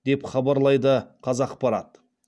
деп хабарлайды қазақпарат